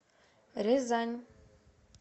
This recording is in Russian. рязань